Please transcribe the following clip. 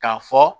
K'a fɔ